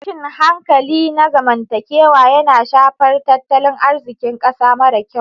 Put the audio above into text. Tashin hankali na zamantakewa yana shafar tattalin arzikin ƙasa mara kyau.